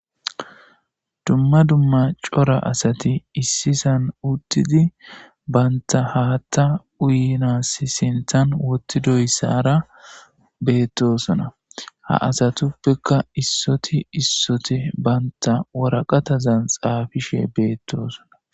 dumma dumma cora asati issisan uttidi banta haatta uyinas sinthan wottidoyssara beettosona ha asatuppeka issoti issoti banta waraqatazan xaafishe beettosona